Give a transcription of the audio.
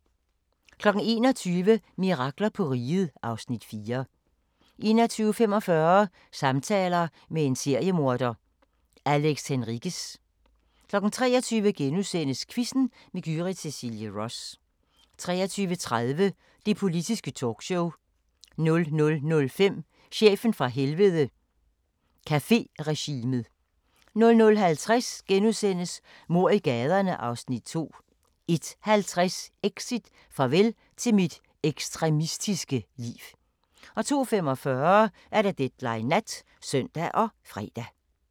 21:00: Mirakler på Riget (Afs. 4) 21:45: Samtaler med en seriemorder – Alex Henriquez 23:00: Quizzen med Gyrith Cecilie Ross * 23:30: Det Politiske Talkshow 00:05: Chefen fra Helvede – Caféregimet 00:50: Mord i gaderne (Afs. 2)* 01:50: Exit: Farvel til mit ekstremistiske liv * 02:45: Deadline Nat (søn og fre)